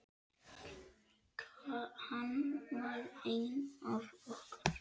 Hann var einn af okkur.